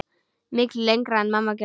Miklu lengra en mamma gerði.